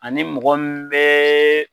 Ani mɔgɔ min bɛ